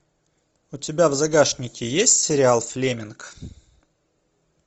у тебя в загашнике есть сериал флеминг